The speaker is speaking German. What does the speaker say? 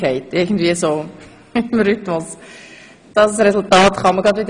Ziffer 3 wurde ja in ein Postulat umgewandelt.